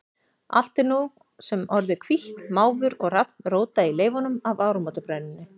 Allt er nú sem orðið hvítt, máfur og hrafn róta í leifunum af áramótabrennunni.